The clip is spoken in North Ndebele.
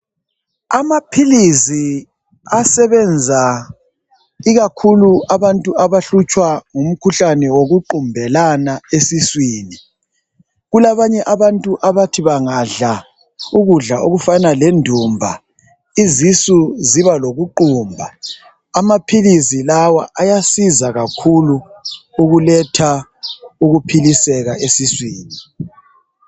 Amaphilisi asebenza ikakhulu abantu abahlutshwa ngumkhuhlane wokuqumbelana esiswini. Kulabanye abantu abathi bangadla ukudla okufana lendumba isisu ziba lokuqumba. Amaphilisi lawa ayasiza kakhulu ukuletha ukuphiliseka esiswini.